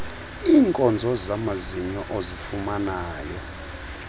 iinkonzo zamazinyo ozifumanayo